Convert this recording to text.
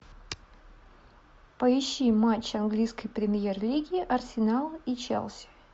поищи матч английской премьер лиги арсенал и челси